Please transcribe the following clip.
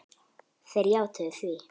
Þeir játuðu því.